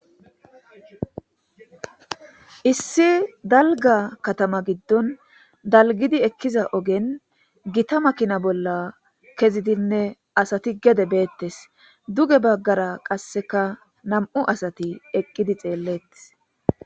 Issi daliga katama gidon daligizi ekiza ogen gitta makina bolla kezidine asati gede betes duge bagara qasika na'mu asati eqidi xelletes